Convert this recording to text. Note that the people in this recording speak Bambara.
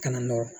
Kana nɔrɔ